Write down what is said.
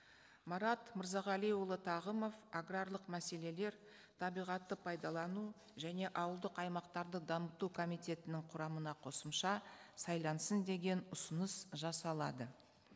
марат мырзағалиұлы тағымов аграрлық мәселелер табиғатты пайдалану және ауылдық аймақтарды дамыту комитетінің құрамына қосымша сайлансын деген ұсыныс жасалады